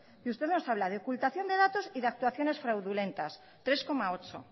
y usted nos habla de ocultación de datos y de actuaciones fraudulentas tres coma ocho